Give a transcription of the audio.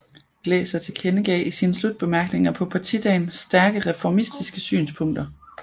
Glaeser tilkendegav i sine slutbemærkninger på partidagen stærke reformistiske synspunkter